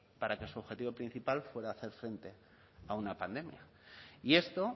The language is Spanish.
para que su objetivo principal fuera hacer frente a una pandemia y esto